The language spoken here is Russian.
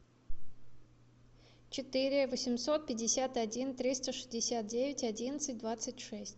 четыре восемьсот пятьдесят один триста шестьдесят девять одиннадцать двадцать шесть